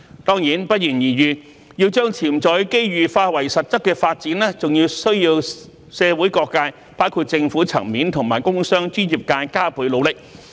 當然，不言而喻，要將潛在的機遇化為實質的發展，還需社會各界，包括政府層面和工商專業界加倍努力。